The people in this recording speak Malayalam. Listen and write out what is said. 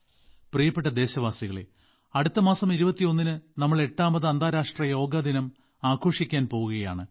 പ്രിയപ്പെട്ട ദേശവാസികളെ അടുത്ത മാസം 21ന് നമ്മൾ എട്ടാമത് അന്താരാഷ്ട്ര യോഗദിനം ആഘോഷിക്കാൻ പോകുകയാണ്